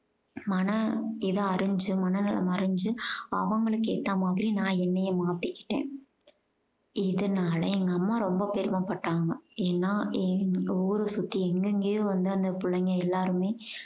மன இதை அறிஞ்சு மனநலம் அறிஞ்சு அவங்களுக்கு ஏத்த மாதிரி நான் என்னையே மாத்திக்கிட்டேன். இதுனால எங்க அம்மா ரொம்ப பெருமைப்பட்டாங்க. ஏன்னா என் ஊர சுத்தி எங்கெங்கயோ வந்து அந்த புள்ளைங்க எல்லாருமே